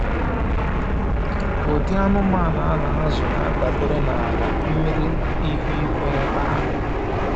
Ụdị anụmanụ a na-azụ na-adabere n’ala, mmiri, na ihu igwe ebe ahụ.